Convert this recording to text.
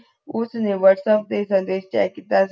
ਉਸਨੇ whatsapp ਸੇ ਸੰਦੇਸ਼ ਚੈੱਕ ਕੀਤਾ ਸੀ